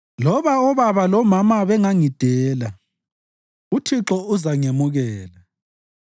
Loba obaba lomama bengangidela, uThixo uzangemukela.